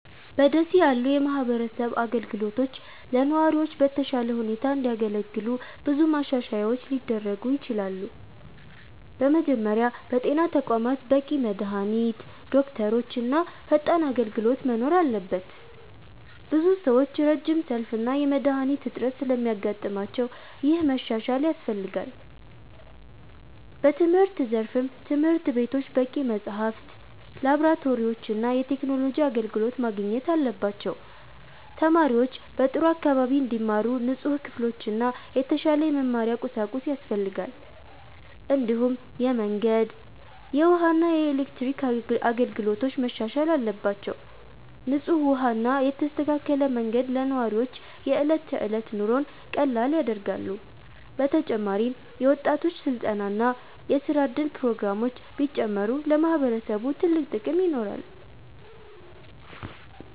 በ ደሴ ያሉ የማህበረሰብ አገልግሎቶች ለነዋሪዎች በተሻለ ሁኔታ እንዲያገለግሉ ብዙ ማሻሻያዎች ሊደረጉ ይችላሉ። በመጀመሪያ በጤና ተቋማት በቂ መድሃኒት፣ ዶክተሮች እና ፈጣን አገልግሎት መኖር አለበት። ብዙ ሰዎች ረጅም ሰልፍ እና የመድሃኒት እጥረት ስለሚያጋጥማቸው ይህ መሻሻል ያስፈልጋል። በትምህርት ዘርፍም ትምህርት ቤቶች በቂ መጽሐፍት፣ ላብራቶሪዎች እና የቴክኖሎጂ አገልግሎት ማግኘት አለባቸው። ተማሪዎች በጥሩ አካባቢ እንዲማሩ ንጹህ ክፍሎችና የተሻለ የመማሪያ ቁሳቁስ ያስፈልጋል። እንዲሁም የመንገድ፣ የውሃ እና የኤሌክትሪክ አገልግሎቶች መሻሻል አለባቸው። ንጹህ ውሃ እና የተስተካከለ መንገድ ለነዋሪዎች የዕለት ተዕለት ኑሮን ቀላል ያደርጋሉ። በተጨማሪም የወጣቶች ስልጠና እና የስራ እድል ፕሮግራሞች ቢጨምሩ ለማህበረሰቡ ትልቅ ጥቅም ይኖራል።